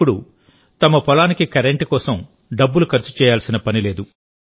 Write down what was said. ఇప్పుడు తమ పొలానికి కరెంటు కోసం డబ్బులు ఖర్చు చేయాల్సిన పనిలేదు